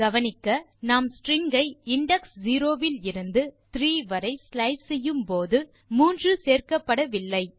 கவனிக்க நாம் ஸ்ட்ரிங் ஐ இண்டெக்ஸ் 0 இலிருந்து இண்டெக்ஸ் 3 வரை ஸ்லைஸ் செய்யும்போது 3 சேர்க்கப்படவில்லை